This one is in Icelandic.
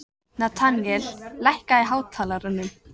Natanael, lækkaðu í hátalaranum.